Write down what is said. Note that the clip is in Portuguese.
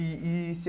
E, e Seu